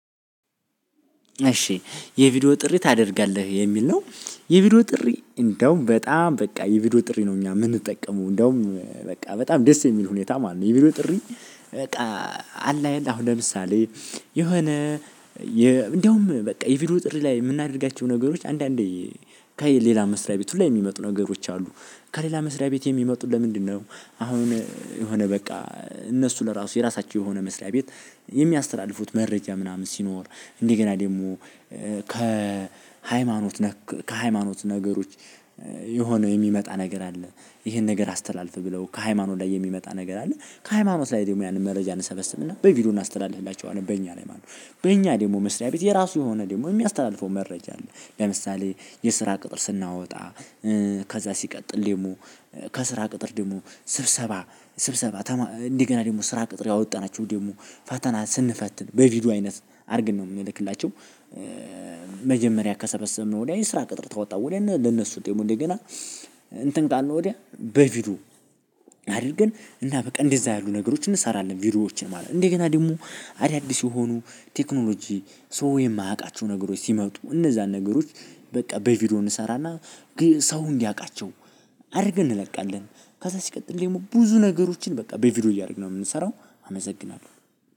እሺ የቪዲዮ ጥሪ ታደርጋለህ የሚል ነው። የቪዲዮ ጥሪ እንደውም በጣም በቃ የቪዲዮ ጥሪ ነው እኛ የምንጠቀመው እንደውም በቃ በጣም ደስ የሚል ሁኔታ ማለት ነው። የቪዲዮ ጥሪ። በቃ አላየን አሁን ለምሳሌ የሆነ እንደውም በቃ የቪዲዮ ጥሪ ላይ የምናደርጋቸው ነገሮች አንዳንዴ ከሌላ መስሪያ ቤት ሁላ የሚመጡ ነገሮች አሉ። ከሌላ መስሪያ ቤት የሚመጡት ለምንድነው? አሁን የሆነ በቃ እነሱ ለራሱ የራሳቸው የሆነ መስሪያ ቤት። የሚያስተላልፉት መረጃ ምናምን ሲኖር እንደገና ደግሞ ከሃይማኖት ነክ ከሃይማኖት ነገሮች የሆነ የሚመጣ ነገር አለ። ይሄን ነገር አስተላልፍ ብለው ከሃይማኖት ላይ የሚመጣ ነገር አለ ከሃይማኖት ላይ ደግሞ ያንን መረጃ እንሰበስብና በቪዲዮ እናስተላልፍላችኋለን በእኛ ላይ ማለት ነው። በእኛ ደግሞ መስሪያ ቤት የራሱ የሆነ ደግሞ የሚያስተላልፈው መረጃ አለ ለምሳሌ የስራ ቅጥር ስናወጣ። ከዛ ሲቀጥል ደግሞ ከስራ ቅጥር ደግሞ ስብሰባ ስብሰባ እንደገና ደግሞ ስራ ቅጥር ያወጣናቸው ደግሞ ፈተና ስንፈትን በቪዲዮ አይነት አድርግን ነው እምንልክላቸው። መጀመሪያ ከሰበሰበ ነው ላይ የስራ ቅጥር ታወጣ ወዲያ ለነሱ ደሞ እንደገና እንትን ካልን ወዲያ በቪዲዮ አድርገን እና በቃ እንደዛ ያሉ ነገሮችን እንሰራለን ቪዲዮዎችን ማለት ነው። እንዴ ገና ደግሞ አዳዲስ የሆኑ ቴክኖሎጂ ሰው የማያውቃቸው ነገሮች ሲመጡ እነዛን ነገሮች በቃ በቪዲዮ እንሰራና ሰው እንዲያቃቸው አድርገን እንለቃለን። ከዛ ሲቀጥል ደግሞ ብዙ ነገሮችን በቃ በቪዲዮ እያደረግን ነው የምንሰራው አመሰግናለሁ።